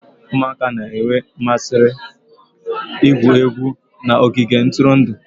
Ụmụaka na-enwe mmasị igwu egwu n'ogige ntụrụndụ